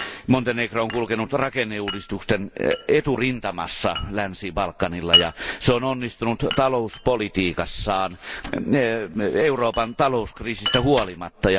Montenegro on kulkenut rakenneuudistusten eturintamassa Länsi Balkanilla, ja se on onnistunut talouspolitiikassaan Euroopan talouskriisistä huolimatta.